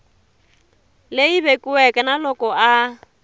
leyi vekiweke na loko a